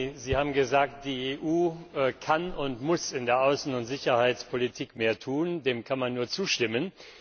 Frau Mogherini, Sie haben gesagt, die EU kann und muss in der Außen und Sicherheitspolitik mehr tun. Dem kann man nur zustimmen.